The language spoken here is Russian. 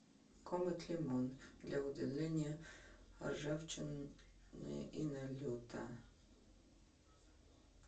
комет лимон для удаления ржавчины и налета